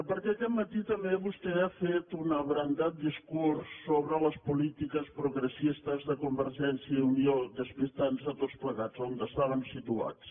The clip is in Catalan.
perquè aquest matí vostè també ha fet un abrandat discurs sobre les polítiques progressistes de convergència i unió i ens ha despistat a tots plegats d’on estaven situats